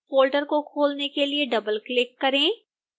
folder को खोलने के लिए डबलक्लिक करें